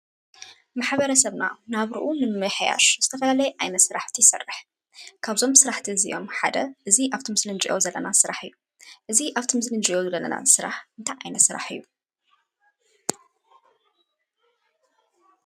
ማሕበረሰብና ናብርኡን ምምሕያሽ ዝተፈላለየ ስራሕቲ ይሰርሕ። ካብዞም ስራሕቲ እዚይኦም ሓደ እዙይ ኣብዚ ምስሊ እንርእዮ ዘለና ስራሕ እዩ። እዙይ ኣብዚ ምስሊ እንርእዮ ዘለና ስራሕ እንታይ ዓይነት ስራሕ እዩ?